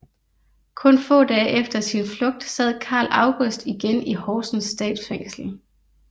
Kun få dage efter sin flugt sad Carl August igen i Horsens Statsfængsel